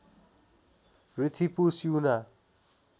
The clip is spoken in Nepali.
र्थिपु स्युना